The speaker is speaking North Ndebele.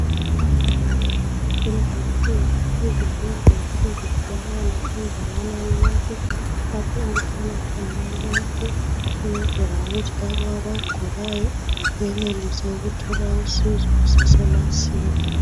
Lezinsuku izibhedlela sezitholakala indawana yonke Lapho okuhlala khona abantu ukwenzela ukuthi labo abagulayo benelise ukuthola usizo kusemasinya.